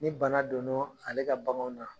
Ni bana donnɔ ale ka baganw na,